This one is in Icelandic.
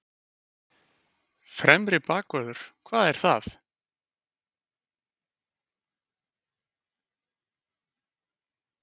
Fremri bakvörður, hvað er það?